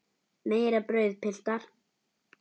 Meira brauð, piltar?